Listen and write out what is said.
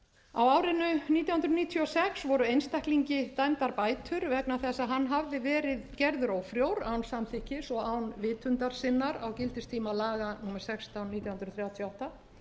nítján hundruð níutíu og sex voru einstaklingi dæmdar bætur vegna þess að hann hafði verið gerður ófrjór án samþykkis og án vitundar sinnar á gildistíma laga númer sextán nítján hundruð þrjátíu og átta